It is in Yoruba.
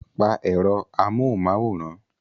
Pa èrò amóhunmáwòrán!